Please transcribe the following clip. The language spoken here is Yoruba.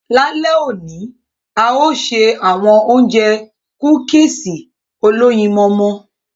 Lalẹ oni, a yóò ṣe awọn óunjẹ kúkìsí oloyinmọmọ